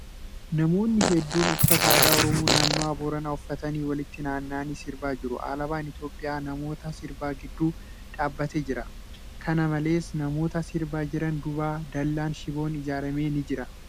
Namoonni hedduun uffata aadaa Oromoo naannawaa booranaa uffatan walitti naanna'aanii sirbaa jiru. Alaabaan Itiyoophiyaa namoota sirbaa gidduu dhaabbatee jira. Kana malees, namoota sirbaa jiran duuba dallaan shiboon iijaarame ni jira.